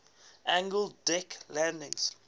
angled deck landing